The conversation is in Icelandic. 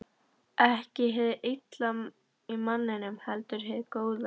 Ekki hið illa í manninum, heldur hið góða.